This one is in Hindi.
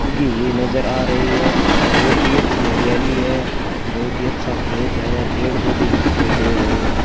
उगी हुई नज़र आ रही है बहुत ही अच्छी हरियाली है बहुत ही अच्छा खेत है पेड़ पौधे भी दिखाई दे रहे है।